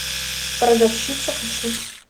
продавщица хочу